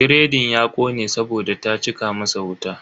Biredin ya kone saboda ta cika masa wuta.